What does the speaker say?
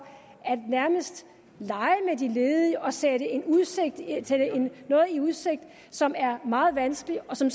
nærmest at de ledige og sætte dem noget i udsigt som er meget vanskeligt og som